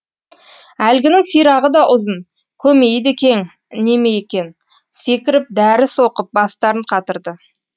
әлгінің сирағы да ұзын көмейі де кең неме екен секіріп дәріс оқып бастарын қатырды